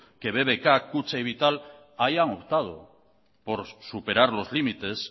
que bbk kutxa y vital hayan optado por superar los límites